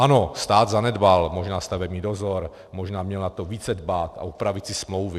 Ano, stát zanedbal možná stavební dozor, možná měl na to více dbát a upravit si smlouvy.